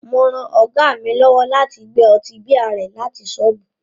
Mo ran Ọ̀gá mi lọ́wọ́ láti gbé ọtí bíà rẹ láti ṣọ́ọ̀bù